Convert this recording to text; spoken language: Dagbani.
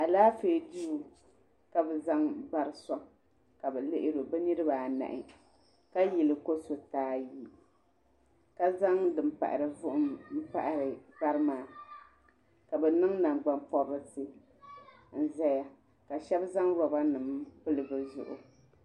Alaafee duu ka bɛ zaŋ bari n-sɔŋ ka bɛ lihiri o bɛ niriba anahi ka yili ko' suriti ayi ka zaŋ din pahiri vuhim m-pahiri bari maa ka bɛ niŋ nangbuni pɔbirisi n-zaya ka shɛba zaŋ roba nima m-pili bɛ zuɣu.